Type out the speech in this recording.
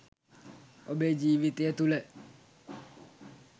ඔබේ ජීවිතය තුළ